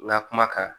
N ka kuma kan